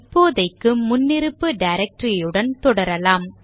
இப்போதைக்கு முன்னிருப்பு directory உடன் தொடரலாம்